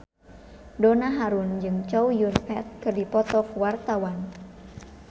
Donna Harun jeung Chow Yun Fat keur dipoto ku wartawan